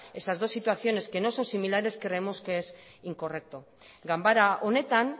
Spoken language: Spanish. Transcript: esas dos situaciones que no son similares creemos que es incorrecto ganbara honetan